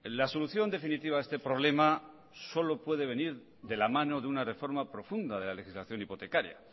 la solución definitiva a este problema solo puede venir de la mano de una reforma profunda de la legislación hipotecaria